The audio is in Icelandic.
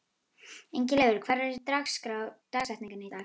Ingileifur, hver er dagsetningin í dag?